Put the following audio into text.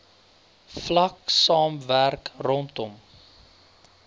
vlak saamwerk rondom